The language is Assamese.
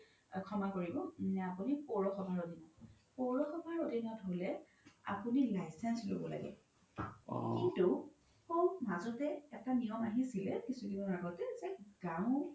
ক্ষমা কৰিব নে আপোনি পৌৰ সভা আধিনত, পৌৰ সভা আধিনত হ'লে আপোনি license ল্'ব লাগিব কিন্তু শৌ মাজতে এটা নিয়ম আহিছিলে কিছু দিনৰ আগতে যে গও